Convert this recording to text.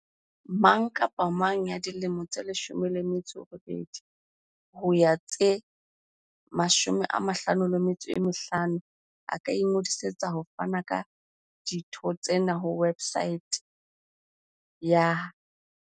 Mang kapa mang ya dilemo di 18 ho ya ho tse 55 a ka ingodisetsa ho fana ka ditho tsena ho websaete ya